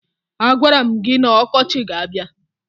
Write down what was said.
A gwara m gị na ọkọchị ga-abia